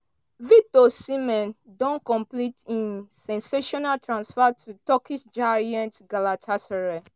victor osimhen don complete im sensational transfer to turkish giants galatasaray.